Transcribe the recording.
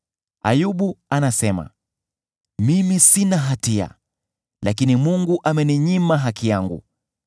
“Ayubu anasema, ‘Mimi sina hatia, lakini Mungu ameninyima haki yangu.